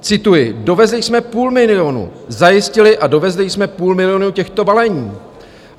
Cituji: "Dovezli jsme půl milionu, zajistili a dovezli jsme půl milionu těchto balení."